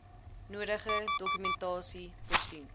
nodige dokumentasie voorsien